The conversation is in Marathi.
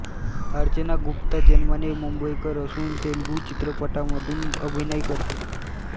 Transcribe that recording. अर्चना गुप्ता जन्माने मुंबईकर असून तेलुगू चित्रपटांमधून अभिनय करते